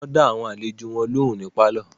Wọ́n dá àwọn àlejò wọn lóhùn ní pálọ̀.